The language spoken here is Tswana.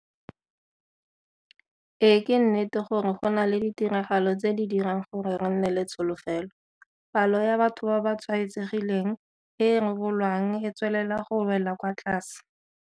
Ee ke nnete gore go na le ditiragalo tse di dirang gore re nne le tsholofelo. Palo ya batho ba ba tshwaetsegileng e e rebolwang e tswelela go wela kwa tlase.